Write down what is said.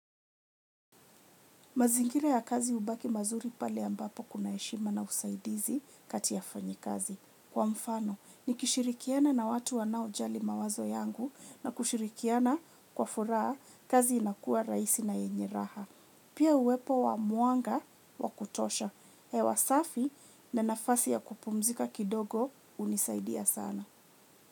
Mazingira ya kazi hubaki mazuri pale ambapo kuna heshima na usaidizi kati ya wafanyi kazi. Kwa mfano, ni kishirikiana na watu wanao jali mawazo yangu na kushirikiana kwa furaha kazi inakua rahisi na yenye raha. Pia uwepo wa mwanga wakutosha. Hewasafi na nafasi ya kupumzika kidogo hunisaidia sana.